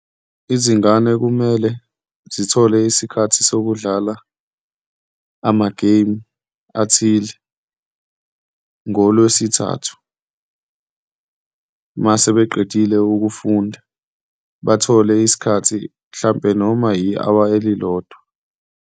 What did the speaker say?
Izingane kumele zithole isikhathi sokudlala amageyimu athile ngoLwesithathu uma sebeqedile ukufunda, bathole isikhathi mhlampe noma yi-hour elilodwa.